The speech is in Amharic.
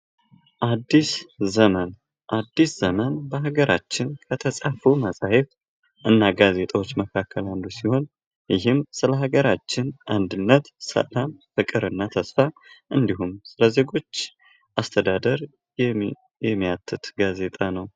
አዲስ ዘመን በሀገራችን በተፃፈው መፅሂፍት እና ጋዜጦች መካከል አንዱ ሲሆን ይህም ስለ ሀገራችን አንድነት ሰላም ፍቅርና ተስፋ እንዲሁም ስለ ዜጎች አስተዳደር የሚያትት ጋዜጣ ነው።